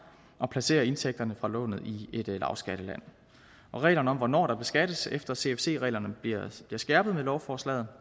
og placerer indtægterne fra lånet i et lavskatteland reglerne om hvornår der beskattes efter cfc reglerne bliver skærpet med lovforslaget